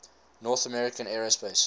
north american aerospace